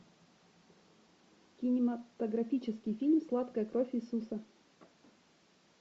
кинематографический фильм сладкая кровь иисуса